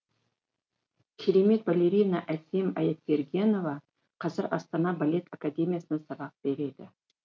керемет балерина әсем аяпбергенова қазір астана балет академиясында сабақ береді